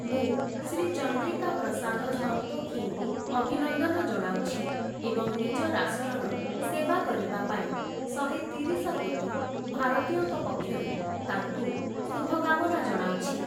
ମୁଁ, ଶ୍ରୀ ଚନ୍ଦ୍ରିକା ପ୍ରସାଦ ସନ୍ତୋଖିଙ୍କୁ ଅଭିନନ୍ଦନ ଜଣାଉଛି ଏବଂ ନିଜ ରାଷ୍ଟ୍ରର ସେବା କରିବା ପାଇଁ ଶହେତିରିଶ କୋଟି ଭାରତୀୟଙ୍କ ପକ୍ଷରୁ ତାଙ୍କୁ ଶୁଭକାମନା ଜଣାଉଛି ।